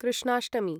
Krishnashtami